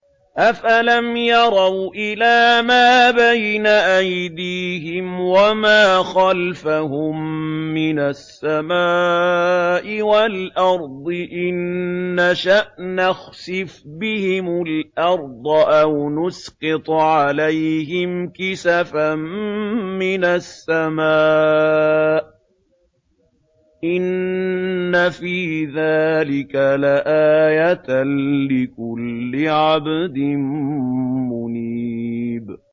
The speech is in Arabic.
أَفَلَمْ يَرَوْا إِلَىٰ مَا بَيْنَ أَيْدِيهِمْ وَمَا خَلْفَهُم مِّنَ السَّمَاءِ وَالْأَرْضِ ۚ إِن نَّشَأْ نَخْسِفْ بِهِمُ الْأَرْضَ أَوْ نُسْقِطْ عَلَيْهِمْ كِسَفًا مِّنَ السَّمَاءِ ۚ إِنَّ فِي ذَٰلِكَ لَآيَةً لِّكُلِّ عَبْدٍ مُّنِيبٍ